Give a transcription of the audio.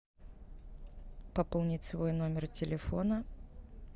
пополнить свой номер телефона